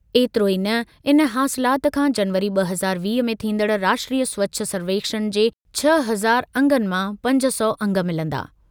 एतिरो ई न, इन हासिलाति खां जनवरी ब॒ हज़ार वीह में थींदड़ राष्ट्रीय स्वछ सर्वेक्षणु जे छह अंज़ार अंगनि मां पंज सौ अंग मिलंदा।